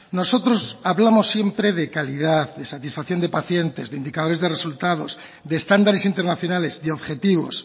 nosotros hablamos siempre de calidad de satisfacción de pacientes de indicadores de resultados de estándares internacionales de objetivos